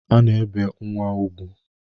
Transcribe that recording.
A na-ebe nnwa ugwu.